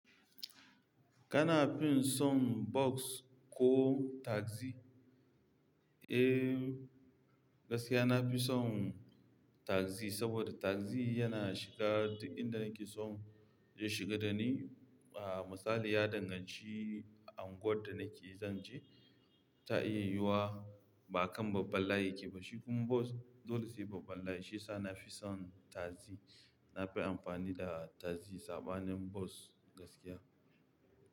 Kana fin son bus ko taxi? Eh, gaskiya na fi son taxi, saboda taxi yana shiga duk inda nake son zai shiga da ni. Ah, misali ya danganci unguwar da nake zan je, ta iya yiwuwa ba kan babban layi yake ba, shi kuma bus dole sai babban layi. Shi yasa na fi son taxi. Na fi amfani da tagzi saɓanin bas gaskiya.